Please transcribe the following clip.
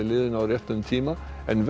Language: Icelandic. liðinu á réttum tímapunkti en